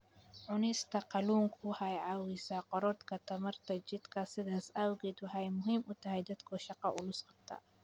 Cunista kalluunku waxa ay caawisaa korodhka tamarta jidhka, sidaas awgeed waxa ay muhiim u tahay dadka shaqo culus qabta.